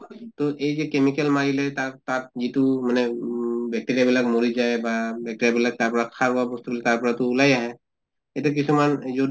তʼ এই যে chemical মাৰিলে তাত তাত যিটো মানে ঊম bacteria বিলাক মৰি যায় বা bacteria বিলাক তাৰ পৰা বস্তু তাৰ পৰাতো ওলাই আহে, এতিয়া কিছুমান